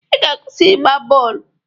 I ga-akwụsị igba bọọlụ!